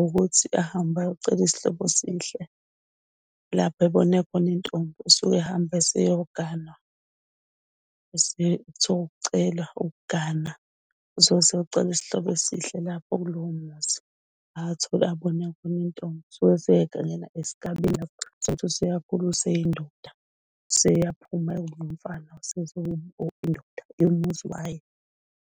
ukuthi akahambe ayocela isihlobo esihle lapho ebone khona intombi. Usuke ehamba eseyoganwa. Kuthiwa ukucela ukuganwa usuke eseyocela isihlobo esihle lapho kulowo muzi abone khona intombi. Esuke eseyongena esigabeni sokuthi useyakhula useyindoda. Sebeyaphuma indoda yomuzi wayo.